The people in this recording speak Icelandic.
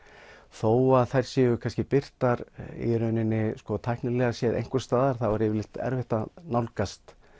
þó að þær séu kannski birtar í rauninni tæknilega séð einhvers staðar þá er erfitt að nálgast